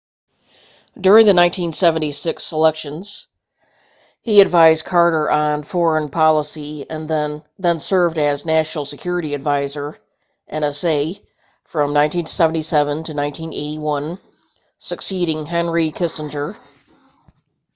during the 1976 selections he advised carter on foreign policy then served as national security advisor nsa from 1977 to 1981 succeeding henry kissinger